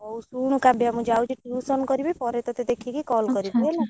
ହଉ ଶୁଣୁ କାବ୍ୟା ମୁଁ ଯାଉଛି tuition କରିବି ପରେ ତତେ ଦେଖିକି call କରିବି ହେଲା। ଆଛା ଆଛା